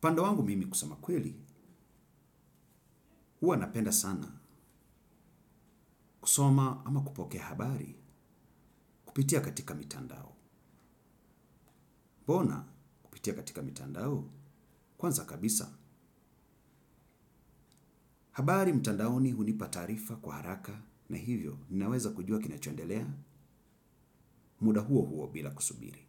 Upande wangu mimi kusema kweli huwa napenda sana kusoma ama kupokea habari kupitia katika mitandao. Mbona kupitia katika mitandao? Kwanza kabisa habari mtandaoni hunipa taarifa kwa haraka na hivyo ninaweza kujua kinachoendelea muda huo huo bila kusubiri.